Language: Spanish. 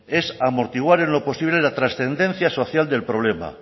es amortiguar en lo posible la transcendencia social del problema